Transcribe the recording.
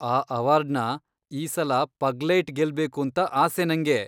ಆ ಅವಾರ್ಡ್ನ ಈ ಸಲ ಪಗ್ಲೇಯ್ಟ್ ಗೆಲ್ಬೇಕೂಂತ ಆಸೆ ನಂಗೆ.